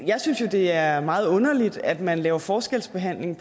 jeg synes jo det er meget underligt at man laver forskelsbehandling